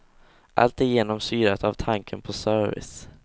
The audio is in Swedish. Allt är genomsyrat av tanken på service.